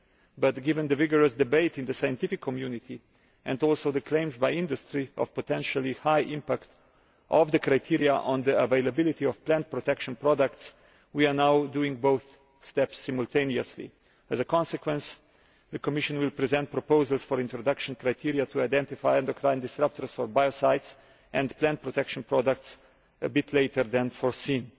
But given the vigorous debate in the scientific community, and also the claims by industry of the potentially high impact of the criteria on the availability of plant protection products, we are now carrying out both steps simultaneously. As a consequence, the Commission will present proposals for the introduction of criteria to identify endocrine disrupters for biocides and plant protection products rather later than foreseen.